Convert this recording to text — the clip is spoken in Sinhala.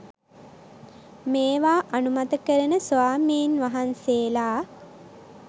මේවා අනුමත කරන ස්වාමීන් වහන්සේලා